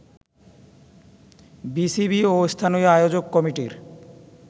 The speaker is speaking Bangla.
বিসিবি ও স্থানীয় আয়োজক কমিটির